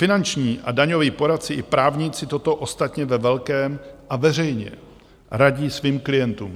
Finanční a daňoví poradci i právníci toto ostatně ve velkém a veřejně radí svým klientům.